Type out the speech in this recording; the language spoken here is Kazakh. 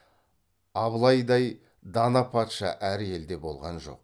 абылайдай дана патша әр елде болған жоқ